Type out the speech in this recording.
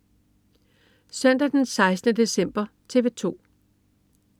Søndag den 16. december - TV 2: